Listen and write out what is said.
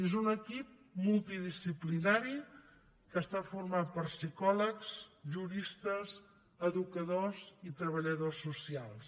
és un equip multidisciplinari que està format per psicòlegs juristes educadors i treballadors socials